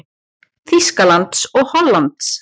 Þýskalands og Hollands.